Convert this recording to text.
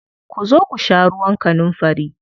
Ku zo ku sha ruwan kanunfari.